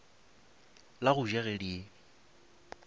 la go ja ge di